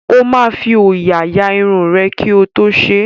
Ó máa fi òòyà ya irun rẹ̀ kí ó tó ṣe é.